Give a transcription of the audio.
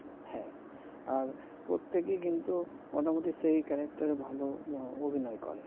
হ্যাঁ আর প্রতেকেই কিন্তু মোটামুটি সেই character এ ভাল অভিনয় করে